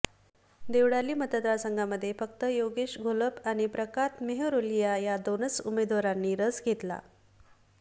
देवळाली मतदारसंघामध्ये फक्त योगेश घोलप आणि प्रताप मेहरोलिया या दोनच उमेदवारांनी रस घेतला